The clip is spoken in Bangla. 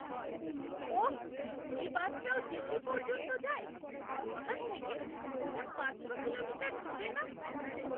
ওহ! এই বাসটাও দিল্লি পর্যন্ত যায়? এখান থেকে ওটা পাঁচশো কিলোমিটার দূরে না?